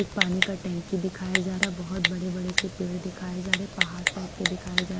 ये पानी का टंकी दिखाया जा रहा बहुत बड़े बड़े से पेड़ दिखाए जा रहे पहाड़ टाइप के दिखाए जा--